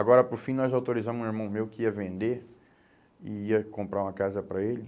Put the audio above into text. Agora, por fim, nós autorizamos um irmão meu que ia vender e ia comprar uma casa para ele.